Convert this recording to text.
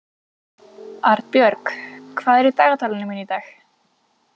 Arnbjörg, hvað er í dagatalinu mínu í dag?